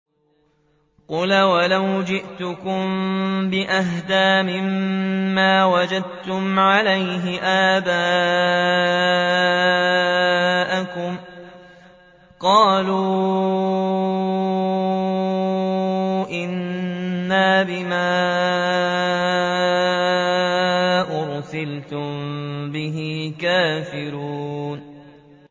۞ قَالَ أَوَلَوْ جِئْتُكُم بِأَهْدَىٰ مِمَّا وَجَدتُّمْ عَلَيْهِ آبَاءَكُمْ ۖ قَالُوا إِنَّا بِمَا أُرْسِلْتُم بِهِ كَافِرُونَ